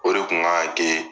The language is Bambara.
O de kun kan ka ke